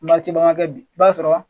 kɛ bi i b'a sɔrɔ